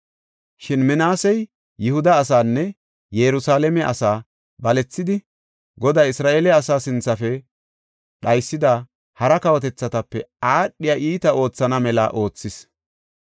Shin Minaasey Yihuda asaanne Yerusalaame asaa balethidi, Goday Isra7eele asaa sinthafe dhaysida hara kawotethatape aadhiya iitaa oothana mela oothis.